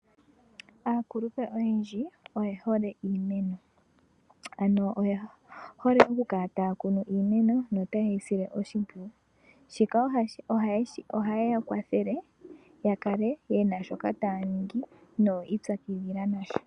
Aakulupe oyendji oyehole iimeno, ano yehole okukala taakunu iimeno nokwiisila oshimpwiyu. Shika ohashi ya kwathele yakala yena shoka taaningi nokwiipyakidhila.